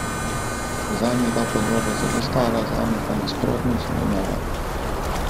Zanj je ta podoba zelo stara, zame pa, nasprotno, zelo nova.